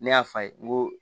Ne y'a f'a ye n ko